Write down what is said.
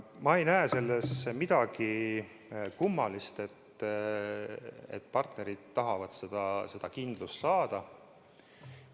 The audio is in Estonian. Ma ei näe selles midagi kummalist, et partnerid tahavad seda kindlust saada.